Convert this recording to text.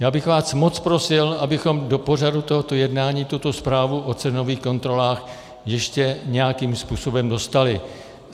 Já bych vás moc prosil, abychom do pořadu tohoto jednání tuto zprávu o cenových kontrolách ještě nějakým způsobem dostali.